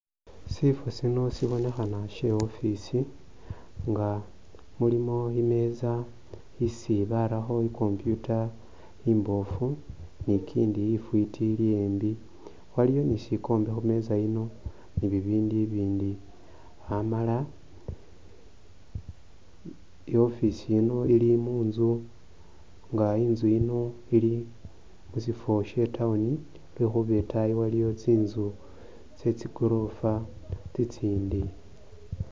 Sifo Sino sibonekhana she'office nga mulimo imesa isi barakho i'computer imbofu nikindi ifwiti ili yembi, waliwo ni'sikombe khumesa yino ni'bibindu bibindi Amala i'office yino ili muntsu nga intsu yino ili musifo she town lwekhuba itaayi iliyo tsinzu tsetsi goorofa tsitsindi